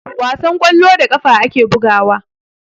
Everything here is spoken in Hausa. Wasan kwallo, da ƙafa ake bugawa.